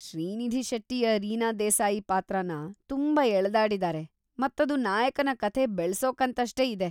ಶ್ರೀನಿಧಿ ಶೆಟ್ಟಿಯ ರೀನಾ ದೇಸಾಯಿ ಪಾತ್ರನ ತುಂಬಾ ಎಳ್ದಾಡಿದಾರೆ ಮತ್ತದು ನಾಯಕನ ಕಥೆ ಬೆಳ್ಸೋಕಂತಷ್ಟೇ ಇದೆ.